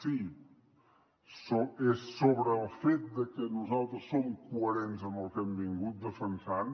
si és sobre el fet de que nosaltres som coherents amb el que hem defensat